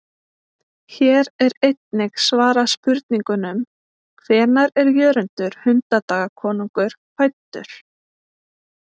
Hér er einnig svarað spurningunum: Hvenær er Jörundur hundadagakonungur fæddur?